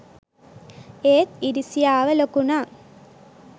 ඒත් ඉරිසියාව ලොකුනං